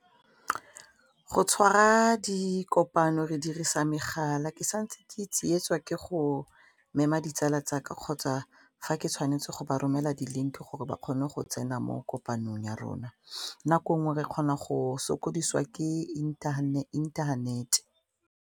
Go tshwara dikopano re dirisa megala ke santse ke tsietswa ke go mema ditsala tsaka kgotsa fa ke tshwanetse go ba romela di-link gore ba kgone go tsena mo kopanong ya rona nako nngwe re kgona go sokodiswa ke internet.